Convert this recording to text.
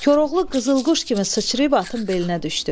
Koroğlu qızıl quş kimi sıçrayıb atın belinə düşdü.